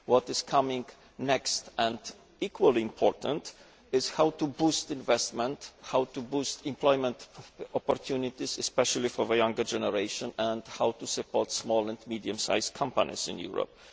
What is next and what is equally important is how to boost investment, how to boost employment opportunities, especially for the younger generation and how to support small and medium sized companies in Europe.